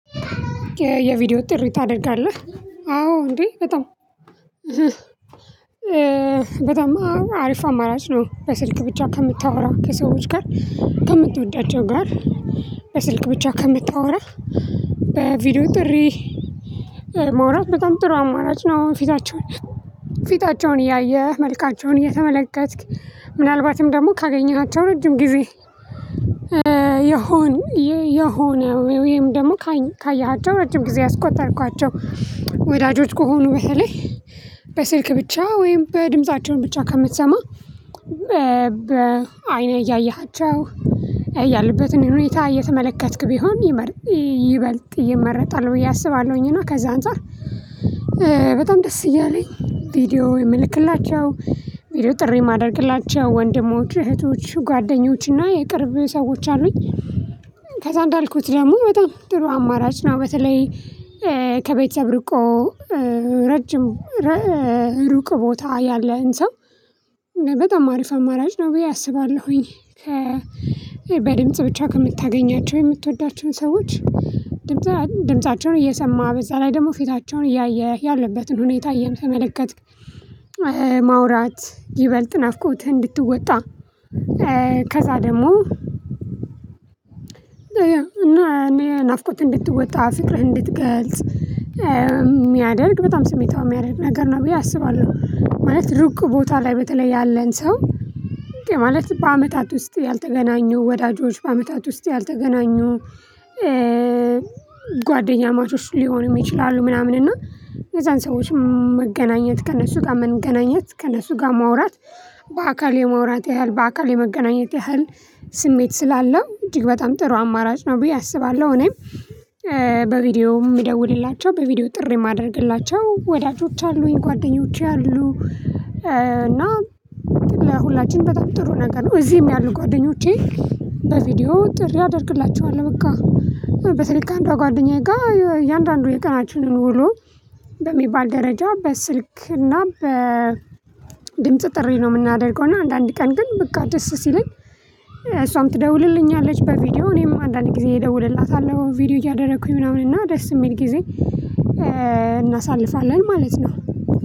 የቪዲዮ ጥሪ ታደርጋለህ። አዎ እንዴ። በጣም በጣም አሪፍ አማራጭ ነው በስልክ ብቻ ከምታወራ ከሰዎች ጋር ከምትወዳቸው ጋር በስልክ ብቻ ከምታወራ በቪዲዮ ጥሪ ማውራት በጣም ጥሩ አማራጭ ነው። ፊታቸውን ፊታቸውን እያየህ መልካቸውን እየተመለከትክ ምናልባትም ደግሞ ካገኘሃቸው ረጅም ጊዜ የሆነ ወይም ደግሞ ካየሃቸው ረጅም ጊዜ ያስቆጠርካቸው ወዳጆች ከሆኑ በተለይ በስልክ ብቻ ወይም በድምፃቸውን ብቻ ከምትሰማ በአይንህ እያየሃቸው ያሉበትን ሁኔታ እየተመለከትክ ቢሆን ይበልጥ ይመረጣል ብዬ አስባለሁኝ። እና ከዛ አንፃር በጣም ደስ እያለኝ ቪዲዮ የምልክላቸው ቪዲዮ ጥሪ የማደርግላቸው ወንድሞች እህቶች ጓደኞች እና የቅርብ ሰዎች አሉኝ። ከዛ እንዳልኩት ደግሞ በጣም ጥሩ አማራጭ ነው። በተለይ ከቤተሰብ ርቆ ረጅም ሩቅ ቦታ ያለን ሰው በጣም አሪፍ አማራጭ ነው ብዬ አስባለሁኝ። በድምጽ ብቻ ከምታገኛቸው የምትወዳቸውን ሰዎች ድምፃቸውን እየሰማህ በዛ ላይ ደግሞ ፊታቸውን እያየህ ያለበትን ሁኔታ እየተመለከትክ ማውራት ይበልጥ ናፍቆትህን እንድትወጣ። ከዛ ደግሞ እና እኔ ናፍቆትህን እንድትወጣ ፍቅርህን እንድትገልጽ የሚያደርግ በጣም ስሜታዊ የሚያደርግ ነገር ነው ብዬ አስባለሁ። ማለት ሩቅ ቦታ ላይ በተለይ ያለን ሰው ማለት በአመታት ውስጥ ያልተገናኙ ወዳጆች በአመታት ውስጥ ያልተገናኙ ጓደኛማቾች ሊሆኑም ይችላሉ። ምናምን እና የዛን ሰዎችም መገናኘት ከእነሱ ጋር መገናኘት ከእነሱ ጋር ማውራት በአካል የማውራት ያህል በአካል የመገናኘት ያህል ስሜት ስላለው እጅግ በጣም ጥሩ አማራጭ ነው ብዬ አስባለሁ። እኔም በቪዲዮ የምደውልላቸው በቪዲዮ ጥሪ የማደረግላቸው ወዳጆች አሉኝ ጓደኞቼ አሉ። እና ለሁላችንም በጣም ጥሩ ነገር ነው እዚህም ያሉ ጓደኞቼ በቪዲዮ ጥሪ አደርግላቸኋለሁ። በቃ በተለይ ከአንዷ ጓደኛዬ ጋር እያንዳንዱ የቀናችንን ውሎ በሚባል ደረጃ በስልክ እና በድምጽ ጥሪ ነው የምናደርገው። እና አንዳንድ ቀን ግን በቃ ደስ ሲለኝ እሷም ትደውልልኛለች በቪዲዮ እኔም አንዳንድ ጊዜ እደውልላታለሁ ቪዲዮ እያደረኩኝ ምናምን እና ደስ የሚል ጊዜ እናሳልፋለን ማለት ነው።